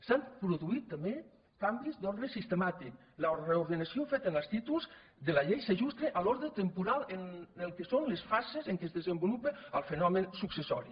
s’han produït també canvis d’ordre sistemàtic la reordenació feta en els títols de la llei s’ajusta a l’ordre temporal en el que són les fases en què es desenvolupa el fenomen successori